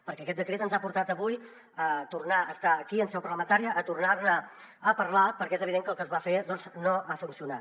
perquè aquest decret ens ha portat avui a tornar a estar aquí en seu parlamentària a tornar ne a parlar perquè és evident que el que es va fer doncs no ha funcionat